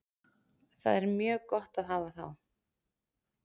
Það er mjög gott að hafa þá.